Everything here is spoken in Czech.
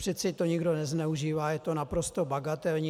Přece to nikdo nezneužívá, je to naprosto bagatelní.